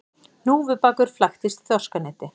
Hnúfubakur flæktist í þorskaneti